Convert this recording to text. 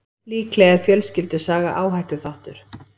Líklega er fjölskyldusaga áhættuþáttur.